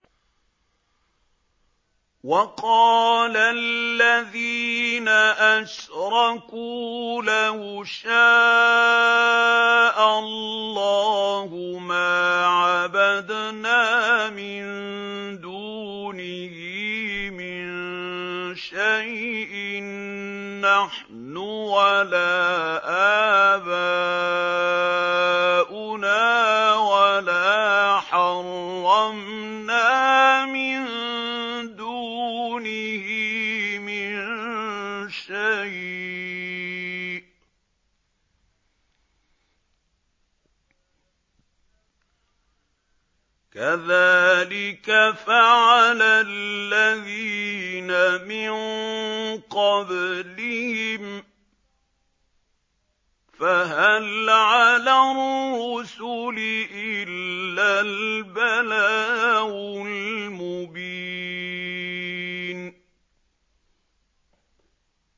وَقَالَ الَّذِينَ أَشْرَكُوا لَوْ شَاءَ اللَّهُ مَا عَبَدْنَا مِن دُونِهِ مِن شَيْءٍ نَّحْنُ وَلَا آبَاؤُنَا وَلَا حَرَّمْنَا مِن دُونِهِ مِن شَيْءٍ ۚ كَذَٰلِكَ فَعَلَ الَّذِينَ مِن قَبْلِهِمْ ۚ فَهَلْ عَلَى الرُّسُلِ إِلَّا الْبَلَاغُ الْمُبِينُ